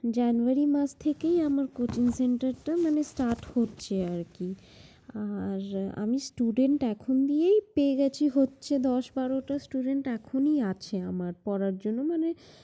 January মাস থেকেই আমার coaching center টা মানে start হচ্ছে আরকি। আর আমি student এখন নিয়ে পেয়ে গেছি হচ্ছে দশ বারোটা student এখুনি আছে পড়ার জন্য। মানে~